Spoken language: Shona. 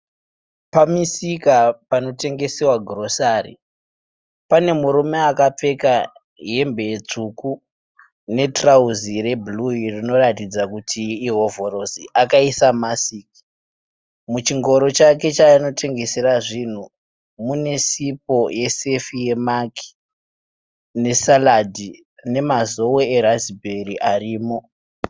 Pamisika panotengesewa girosari. Pane murume akapfeka hembe tsvuku netirauzi rebhuruu iro rinoratidza kuti ihovhorosi. Akaisa masiki. Muchingoro chake chaanotengesera zvinhu mune sipo yesefi yeMaq nesaradhi neMazoe eRasberry arimo.